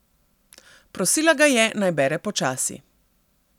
Prosila ga je, naj bere počasi.